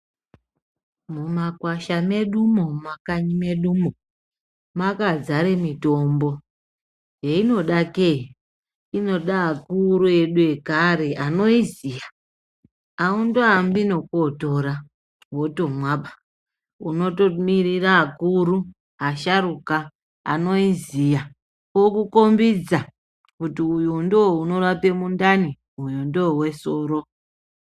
Mumakwasha medumo mumakanyi medumo mwakazare mitombo einodake ,inoda akuru edu ekare anoiziya aundoambi ngekootora wotomwa, unotomirira akuru asharuka anoiziya okukombiza kuti uyu ndo unorape mundani uyu ndowesoro.